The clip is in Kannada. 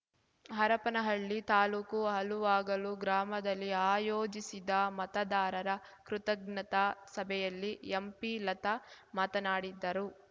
ಹರಪನಹಳ್ಳಿ ತಾಲೂಕು ಹಲುವಾಗಲು ಗ್ರಾಮದಲ್ಲಿ ಆಯೋಜಿಸಿದ್ದ ಮತದಾರರ ಕೃತಜ್ಞತಾ ಸಭೆಯಲ್ಲಿ ಎಂಪಿಲತಾ ಮಾತನಾಡಿದರು